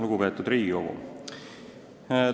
Lugupeetud Riigikogu!